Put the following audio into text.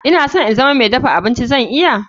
I always want to be a chef can i?